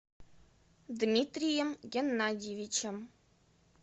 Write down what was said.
дмитрием геннадьевичем